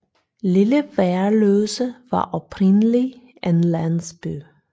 Lille Værløse var oprindeligt en landsby